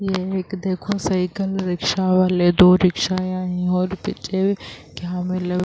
یہ ایک دیکھو سائیکل رکشا والے دو رکشا یہا ہے اور پیچھے کیا ملا --